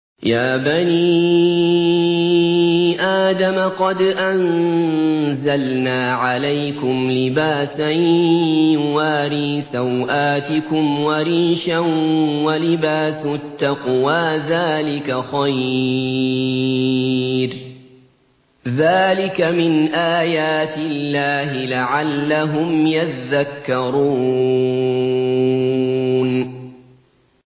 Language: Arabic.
يَا بَنِي آدَمَ قَدْ أَنزَلْنَا عَلَيْكُمْ لِبَاسًا يُوَارِي سَوْآتِكُمْ وَرِيشًا ۖ وَلِبَاسُ التَّقْوَىٰ ذَٰلِكَ خَيْرٌ ۚ ذَٰلِكَ مِنْ آيَاتِ اللَّهِ لَعَلَّهُمْ يَذَّكَّرُونَ